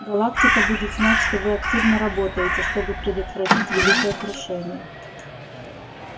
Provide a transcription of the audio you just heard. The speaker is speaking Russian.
галактика будет знать что вы активно работаете чтобы предотвратить великое крушение